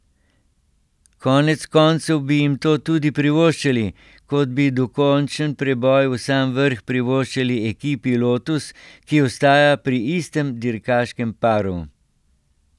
Konec koncev bi jim to tudi privoščili, kot bi dokončen preboj v sam vrh privoščili ekipi Lotus, ki ostaja pri istem dirkaškem paru.